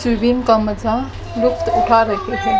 swimming का मजा लुफ्त उठा रहे--